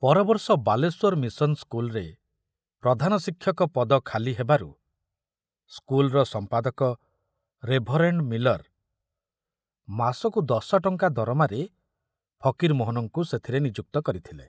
ପରବର୍ଷ Balasore mission ସ୍କୁଲରେ ପ୍ରଧାନ ଶିକ୍ଷକ ପଦ ଖାଲି ହେବାରୁ ସ୍କୁଲର ସମ୍ପାଦକ ରେଭରେଣ୍ଡ ମିଲର ମାସକୁ ଦଶଟଙ୍କା ଦରମାରେ ଫକୀରମୋହନଙ୍କୁ ସେଥିରେ ନିଯୁକ୍ତ କରିଥିଲେ।